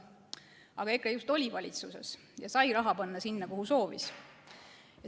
Aga EKRE just oli valitsuses ja sai raha panna sinna, kuhu soovis.